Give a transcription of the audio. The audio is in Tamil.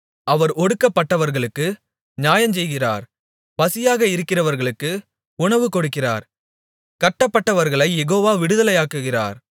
அவர் ஒடுக்கப்பட்டவர்களுக்கு நியாயஞ்செய்கிறார் பசியாக இருக்கிறவர்களுக்கு உணவுகொடுக்கிறார் கட்டப்பட்டவர்களைக் யெகோவா விடுதலையாக்குகிறார்